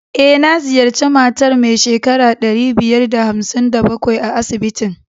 E, na ziyarci matar mai shekara ɗari biyar da hamsin da bakwai a asibitin.